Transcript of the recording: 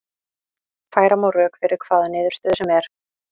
Færa má rök fyrir hvaða niðurstöðu sem er.